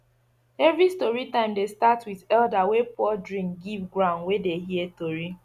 every story time dey start with elder wey pour drink give the ground wey dey hear tori